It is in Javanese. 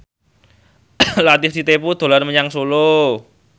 Latief Sitepu dolan menyang Solo